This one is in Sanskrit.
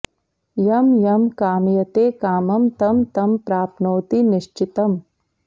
यं यं कामयते कामं तं तं प्राप्नोति निश्चितम्